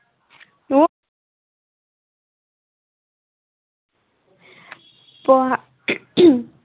পঢ়া